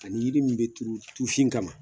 Ani yiri min bɛ turu tufin kama